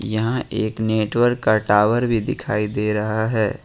यहां एक नेटवर्क का टावर भी दिखाई दे रहा है।